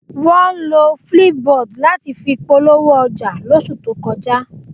Wọ́n lo flipboard láti fi polówó ọjà lóṣù tó kọjá